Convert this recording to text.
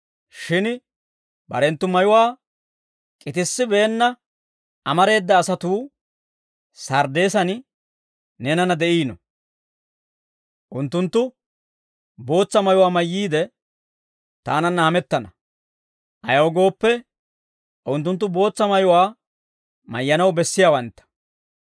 Shin barenttu mayuwaa k'itissibeenna amareeda asatuu Sarddeesan neenanna de'iino. Unttunttu bootsa mayuwaa mayyiide taananna hamettana; ayaw gooppe, unttunttu bootsa mayuwaa mayyanaw bessiyaawantta.